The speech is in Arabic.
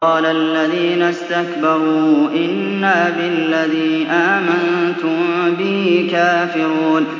قَالَ الَّذِينَ اسْتَكْبَرُوا إِنَّا بِالَّذِي آمَنتُم بِهِ كَافِرُونَ